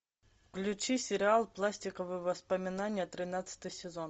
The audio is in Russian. включи сериал пластиковые воспоминания тринадцатый сезон